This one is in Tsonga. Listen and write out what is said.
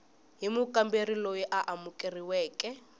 hi mukamberi loyi a amukeriweke